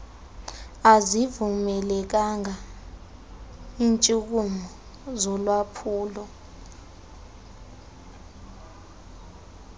azivumelekanga iintshukumo zolwaphulo